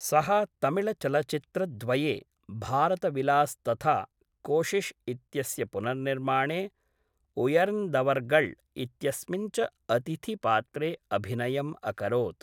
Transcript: सः तमिळ्चलच्चित्रद्वये, भारत विलास् तथा कोशिश् इत्यस्य पुनर्निर्माणे, उयर्न्दवर्गळ् इत्यस्मिन् च अतिथिपात्रे अभिनयम् अकरोत्।